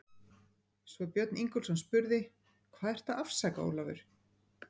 Svo að Björn Ingólfsson spurði: Hvað ertu að afsaka, Ólafur?